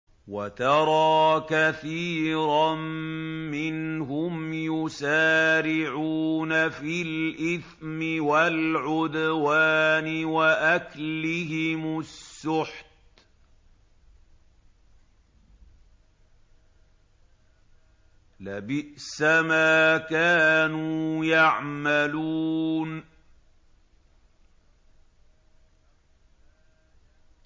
وَتَرَىٰ كَثِيرًا مِّنْهُمْ يُسَارِعُونَ فِي الْإِثْمِ وَالْعُدْوَانِ وَأَكْلِهِمُ السُّحْتَ ۚ لَبِئْسَ مَا كَانُوا يَعْمَلُونَ